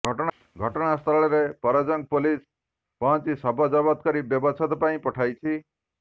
ଘଟଣାସ୍ଥଳରେ ପରଜଙ୍ଗ ପୋଲିସ ପହଞ୍ଚି ଶବ ଜବତ କରି ବ୍ୟବଚ୍ଛେଦ ପାଇଁ ପଠାଇଛି